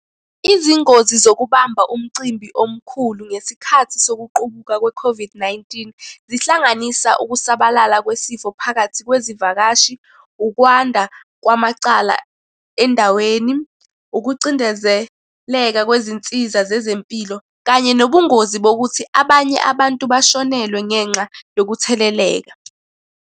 Izingozi zokubamba umcimbi omkhulu ngesikhathi sokuqubuka kwe-COVID-19, zihlanganisa ukusabalala kwesifo phakathi kwezivakashi, ukwanda kwamacala endaweni, ukucindezeleka kwezinsiza zezempilo, kanye nobungozi bokuthi abanye abantu bashonelwe ngenxa yokutheleleka.